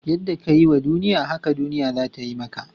Yadda ka yi wa duniya, haka duniya za ta yi maka.